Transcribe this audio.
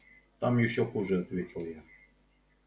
там ещё хуже ответил я